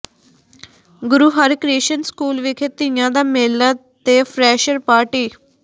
ਗੁਰੂ Harkrishan school ਵਿਖੇ ਤੀਆਂ ਦਾ ਮੇਲਾ ਤੇ ਫਰੈਸ਼ਰ ਪਾਰਟੀ